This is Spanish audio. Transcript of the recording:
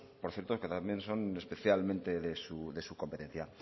aspectos por cierto que también son especialmente de su competencia